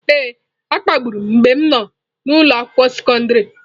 Ee, a kpagburu m mgbe m nọ n'ụlọ akwụkwọ sekọndrị.